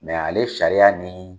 ale sariyaya ni